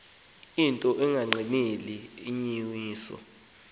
into engagqineli inyaniso